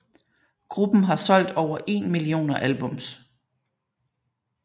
Gruppen har solgt over én millioner albums